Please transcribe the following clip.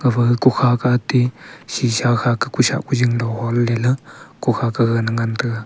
gafa kokha kah ate sheesha kha kah kosah kojing lo honley la kokha gagan ngan taga.